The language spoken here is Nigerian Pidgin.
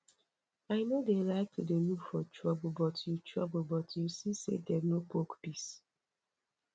i no dey like to dey look for trouble but you trouble but you see say dem no poke peace